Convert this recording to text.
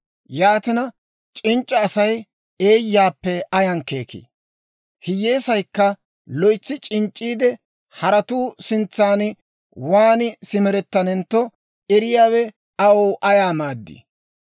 Yaatina, c'inc'c'a Asay eeyyaappe ayaan keekii? Hiyyeesaykka loytsi c'inc'c'iide, haratuu sintsan waan simerettanentto eriyaawe aw ayaa maaddii?